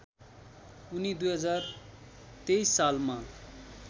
उनी २०२३ सालमा